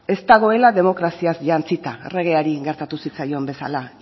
ez dagoela demokraziaz jantzita erregeari gertatu zitzaion bezala